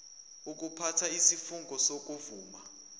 ukuphatha isifungo sokuvuma